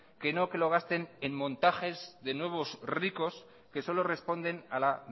que no que lo gasten en montajes de nuevos ricos que solo responden a la